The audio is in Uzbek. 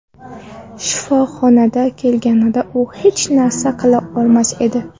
Shifoxonaga kelganida u hech narsa qila olmas edi.